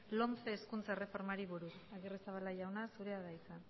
lomce hezkuntza erreformari buruz agirrezabala jauna zurea da hitza